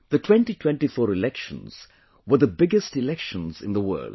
The 2024 elections were the biggest elections in the world